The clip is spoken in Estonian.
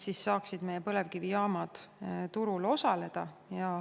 Siis saaksid meie põlevkivijaamad turul osaleda.